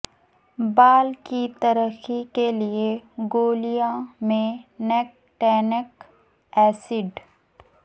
بال کی ترقی کے لئے گولیاں میں نکٹینک ایسڈ